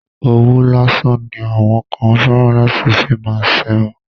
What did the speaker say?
Òwú lásán ni àwọn kan fẹ́ràn láti fi má ṣerun.